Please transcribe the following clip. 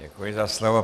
Děkuji za slovo.